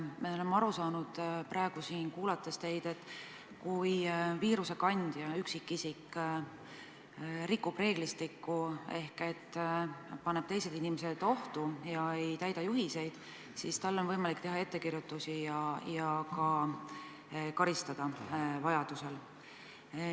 Me oleme teid praegu siin kuulates aru saanud, et kui viirusekandjast üksikisik rikub reeglistikku ehk paneb teised inimesed ohtu ja ei täida juhiseid, siis on võimalik teha talle ettekirjutus ja vajaduse korral teda ka karistada.